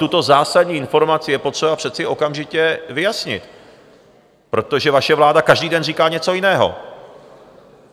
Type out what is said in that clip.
Tuto zásadní informaci je přece potřeba okamžitě vyjasnit, protože vaše vláda každý den říká něco jiného.